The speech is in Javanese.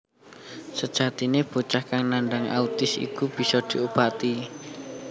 Sejatine bocah kang nandang autis iku bisa diobati